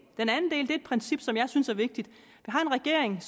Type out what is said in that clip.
er et princip som jeg synes er vigtigt vi har en regering